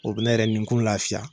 U bɛ ne yɛrɛ minkun lafiya!